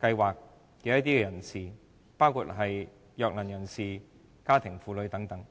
的人士，包括弱能人士和家庭主婦等的問題。